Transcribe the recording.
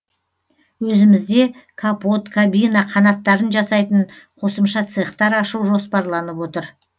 өзімізде капот кабина қанаттарын жасайтын қосымша цехтар ашу жоспарланып отыр